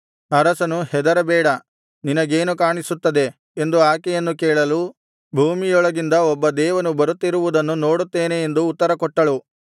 ಅರಸನು ಹೆದರಬೇಡ ನಿನಗೇನು ಕಾಣಿಸುತ್ತದೆ ಎಂದು ಆಕೆಯನ್ನು ಕೇಳಲು ಭೂಮಿಯೊಳಗಿಂದ ಒಬ್ಬ ದೇವನು ಬರುತ್ತಿರುವುದನ್ನು ನೋಡುತ್ತೇನೆ ಎಂದು ಉತ್ತರ ಕೊಟ್ಟಳು